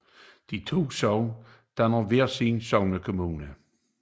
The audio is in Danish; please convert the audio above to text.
De to sogne dannede hver sin sognekommune